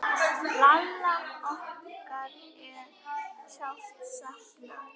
Lalla okkar er sárt saknað.